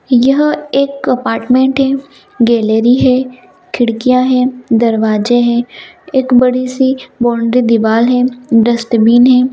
यह एक अपार्टमेंट है गैलरी है खिड़कियां है दरवाजे है एक बड़ी-सी बाउंड्री दिवाल है डस्ट्बिन है।